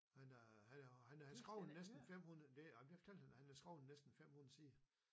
Men øh han øh han har skrevet næsten 500 det ej men det fortalte han han har skrevet næsten 500 sider